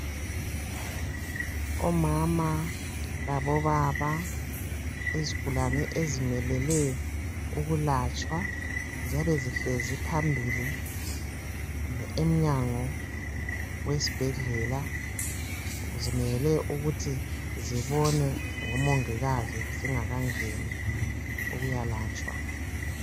Omama labo baba yzigulane ezimelele ukulatshwa ziyabe zihlezi phambili kumbe emnyango wesibhedlela zimele ukuthi zibonwe ngomongikazi zingakangeni ukuyalatshwa